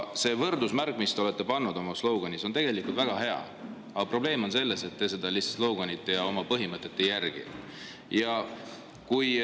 See võrdusmärk, mille te panite oma slogan'is, on väga hea, aga probleem on selles, et te seda slogan'it ja oma põhimõtet lihtsalt ei järgi.